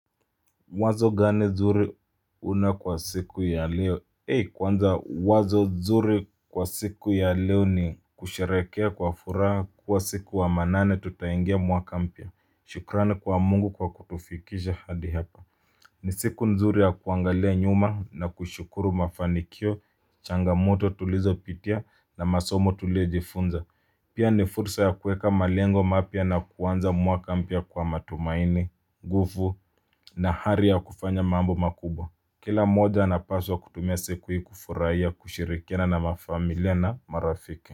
Wazo gani zuri una kwa siku ya leo Ee! Kwanza wazo zuri kwa siku ya leo ni kusherekea kwa furaha kwa siku wa manane tutaingia mwaka mpia. Shukrani kwa Mungu kwa kutufikisha hadi hapa. Ni siku nzuri ya kuangalia nyuma na kushukuru mafanikio, changamoto tulizopitia na masomo tulijifunza. Pia ni fursa ya kuweka malengo mapya na kuanza mwaka mpya kwa matumaini, gufu na hari ya kufanya mambo makubwa. Kila mmoja anapaswa kutumia siku hii kufuraia kushirikiana na mafamilia na marafiki.